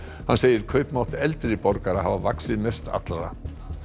hann segir kaupmátt eldri borgara hafa vaxið mest allra